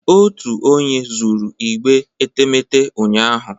Otu onye zuru igbe etemeete ụnyahụ